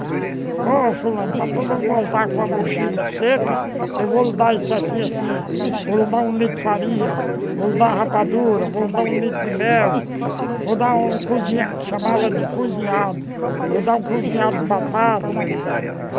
Ó, fulano, para tu não voltar com a mochila seca, eu vou lhe dar isso assim, assim, vou lhe dar um litro de farinha, vou lhe dar a rabadura, vou lhe dar um litro de mel, vou lhe dar um cozinhado, que chamava de cozinhado, vou lhe dar um cozinhado de batata.